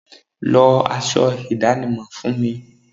Lọ aṣọ ìdánimọ̀ mi fún mi.